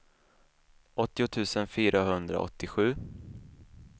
åttio tusen fyrahundraåttiosju